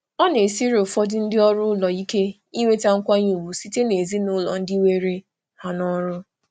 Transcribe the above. Ụfọdụ ndị ọrụ ụlọ na-esiri ike inweta nkwanye ùgwù site n'aka ezinụlọ ndị were ha n'ọrụ. n'ọrụ.